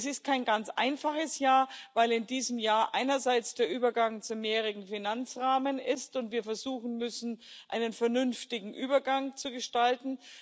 Es ist kein ganz einfaches Jahr, weil in diesem Jahr einerseits der Übergang zum mehrjährigen Finanzrahmen stattfindet und wir versuchen müssen, einen vernünftigen Übergang zu gestalten.